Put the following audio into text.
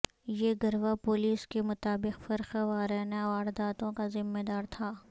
یہ گروہ پولیس کے مطابق فرقہ وارنہ وارداتوں کا ذمہ دار تھا